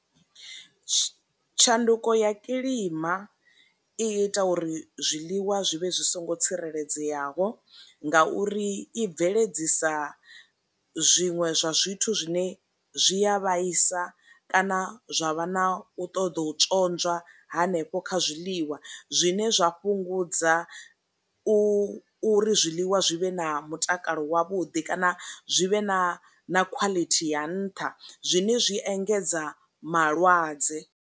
Tshanduko ya kilima i ita uri zwiḽiwa zwi vhe zwi songo tsireledzeaho nga uri i bveledzisa zwiṅwe zwa zwithu zwine zwi a vhaisa kana zwa vha na u ṱoḓa u tswonzwa hanefho kha zwiḽiwa, zwine zwa fhungudza u ri zwiḽiwa zwi vhe na mutakalo wavhuḓi kana zwi vhe na khwaḽithi ya nṱha, zwine zwi engedza malwadze.